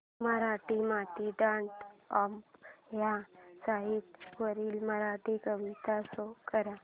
Marathimati dot com ह्या site वरील मराठी कविता शो कर